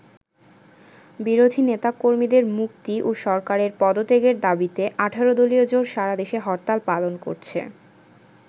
বিরোধী নেতা-কর্মীদের মুক্তি ও সরকারের পদত্যাগের দাবীতে ১৮ দলীয় জোট সারাদেশে হরতাল পালন করছে।